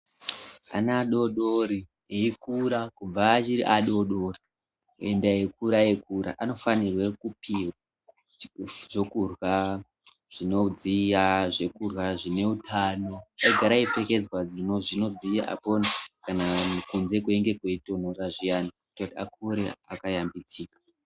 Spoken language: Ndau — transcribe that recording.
Ana adodori eikura kubva achiri adodori kuenda eikura eikura anofanirwa kupihwe chekurhya, zvinodziya chekurhya zvine utano eigara eipfekedzwa zvinodziya kana kunze kweinge kweitonhora zviyani kuitira kuti akure akashambidzika